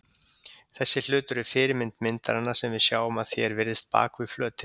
Þessi hlutur er fyrirmynd myndarinnar sem við sjáum að því er virðist bak við flötinn.